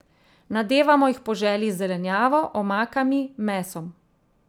Nadevamo jih po želji z zelenjavo, omakami, mesom.